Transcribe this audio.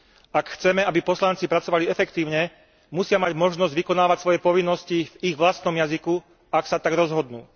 Ak chceme, aby poslanci pracovali efektívne, musia mať možnosť vykonávať svoje povinnosti v ich vlastnom jazyku, ak sa tak rozhodnú.